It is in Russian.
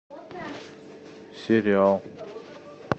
сериал